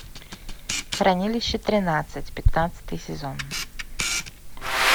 хранилище тринадцать пятнадцатый сезон